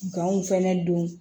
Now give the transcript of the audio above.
Ganw fɛnɛ don